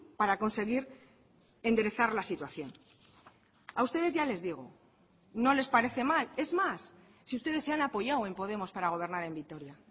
para conseguir enderezar la situación a ustedes ya les digo no les parece mal es más si ustedes se han apoyado en podemos para gobernar en vitoria